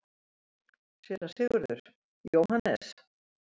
SÉRA SIGURÐUR: Jóhannes?